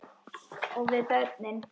Og við börnin.